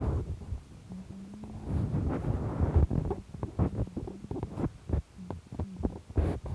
Kabarunoik chechang chepo Tylosis nepoo mokwek ko siryaat